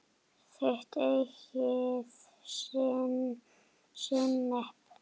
Þitt eigið sinnep!